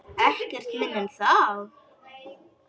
Ekkert minna en það!